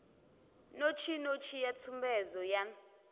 notsi notsi a tsumbedzo yan